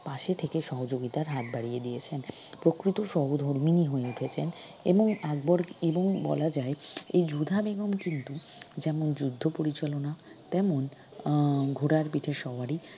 পাশে থেকে সহযোগীতার হাত বাড়িয়ে দিয়েছেন প্রকৃত সহধর্মীনি হয়ে উঠেছেন এবং আকবর এবং বলা যায় এই যোধা বেগম কিন্তু যেমন যুদ্ধ পরিচালনা তেমন আহ ঘোড়ার পিঠে সওয়ারি